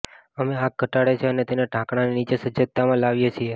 અમે આગ ઘટાડે છે અને તેને ઢાંકણાંની નીચે સજ્જતામાં લાવીએ છીએ